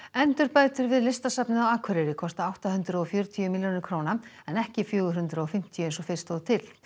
endurbætur við Listasafnið á Akureyri kosta átta hundruð og fjörutíu milljónir króna en ekki fjögur hundruð og fimmtíu eins og fyrst stóð til